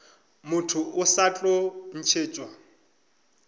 motho o sa tlo ntšhetšwa